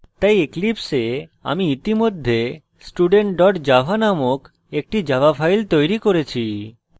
তাই eclipse আমি ইতিমধ্যে student java নামক একটি java file তৈরি করেছি